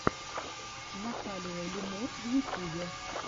наталия лемур в ютьюбе